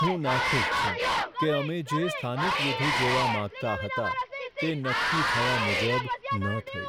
હું નાખુશ છું કે અમે જે સ્થાનિક વિધિ જોવા માંગતા હતા તે નક્કી થયા મુજબ ન થઈ.